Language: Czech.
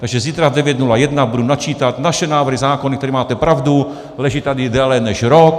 Takže zítra v 9.01 budu načítat naše návrhy zákonů, které, máte pravdu, leží tady déle než rok.